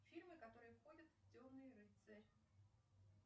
фильмы которые входят в темный рыцарь